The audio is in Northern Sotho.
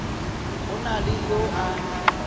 go na le yo a